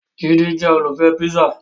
Jide jẹ́ olùfẹ́ píṣà